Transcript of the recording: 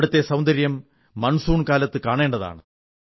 അവിടത്തെ സൌന്ദര്യം മൺസൂൺ കാലത്ത് കാണേണ്ടതാണ്